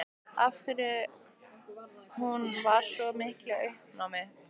Af hverju hún var í svona miklu uppnámi.